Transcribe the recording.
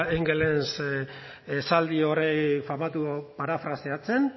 engelsen esaldi hori famatu parafraseatzen